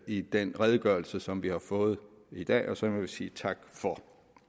i den redegørelse som vi har fået i dag og som jeg vil sige tak for